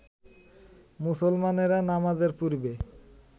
মুসলমানেরা নামাজের পূর্বে